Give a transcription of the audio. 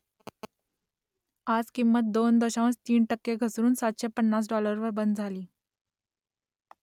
आज किंमत दोन दशांश तीन टक्के घसरून सातशे पन्नास डॉलरवर बंद झाली